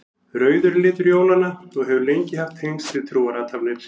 Rauður er litur jólanna og hefur lengi haft tengsl við trúarathafnir.